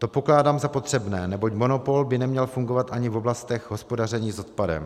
To pokládám za potřebné, neboť monopol by neměl fungovat ani v oblastech hospodaření s odpadem.